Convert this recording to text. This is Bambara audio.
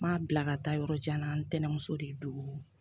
N m'a bila ka taa yɔrɔ jan na n tɛnɛn muso de don